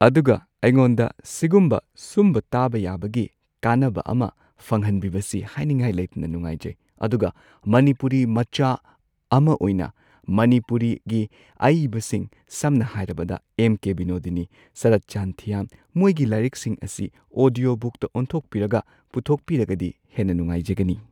ꯑꯗꯨꯒ ꯑꯩꯉꯣꯟꯗ ꯁꯤꯒꯨꯝꯕ ꯁꯨꯝꯕ ꯇꯥꯕ ꯌꯥꯕꯒꯤ ꯀꯥꯟꯅꯕ ꯑꯃ ꯐꯪꯍꯟꯕꯤꯕꯁꯤ ꯍꯥꯏꯅꯤꯡꯉꯥꯏ ꯂꯩꯇꯅ ꯅꯨꯉꯥꯏꯖꯩ ꯑꯗꯨꯒ ꯃꯅꯤꯄꯨꯔꯤ ꯃꯆꯥ ꯑꯝ ꯃꯅꯤꯄꯨꯔ ꯃꯆꯥ ꯑꯃ ꯑꯣꯏꯅ ꯃꯅꯤꯄꯨꯔꯤ ꯒꯤ ꯑꯏꯕꯁꯤꯡ ꯁꯝꯅ ꯍꯥꯏꯔꯕꯗ ꯑꯦꯝ ꯀꯦ ꯕꯤꯅꯣꯗꯤꯅꯤ ꯁꯔꯠꯆꯥꯟ ꯊꯤꯌꯥꯝ ꯃꯣꯏꯒꯤ ꯂꯥꯏꯔꯤꯛꯁꯤꯡ ꯑꯁꯤ ꯑꯣꯗꯤꯌꯣ ꯕꯨꯛꯇ ꯑꯣꯟꯊꯣꯛꯄꯤꯔꯒ ꯄꯨꯊꯣꯛꯄꯤꯔꯒꯗꯤ ꯍꯦꯟꯅ ꯅꯨꯉꯥꯏꯖꯒꯅꯤ